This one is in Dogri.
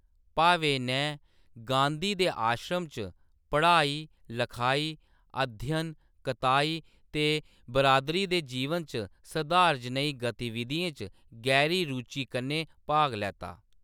भावे नै गांधी दे आश्रम च पढ़ाई-लखाई, अध्ययन, कताई ते बिरादरी दे जीवन च सधार जनेही गतिविधियें च गैह्‌री रुचि कन्नै भाग लैता।